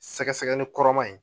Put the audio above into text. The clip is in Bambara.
Sɛgɛsɛgɛli kɔrɔman in